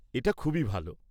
এটা খুবই ভাল।